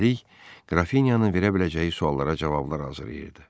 Üstəlik, qrafinyanın verə biləcəyi suallara cavablar hazırlayırdı.